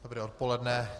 Dobré odpoledne.